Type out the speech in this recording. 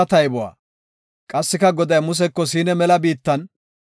Qassika Goday Museko Siina mela biittan,